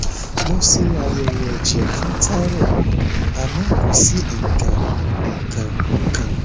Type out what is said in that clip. mo ṣe àyẹwò ẹjẹ fún thyroid mi àmọ kò sí nǹkan nǹkan kan